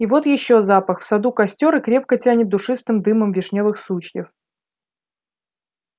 и вот ещё запах в саду костёр и крепко тянет душистым дымом вишнёвых сучьев